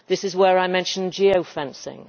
This is where I mentioned geofencing.